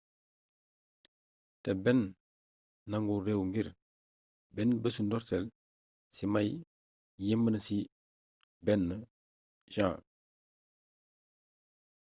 té benn nangul réew ngir bénn bésu ndoortéle ci may yémbna ci 1 jan